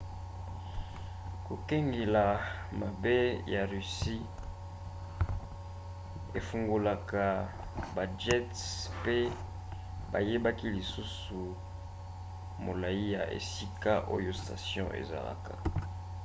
kokengela mabe ya russie efungolaka bajets pe bayebaki lisusu molai ya esika oyo station ezalaka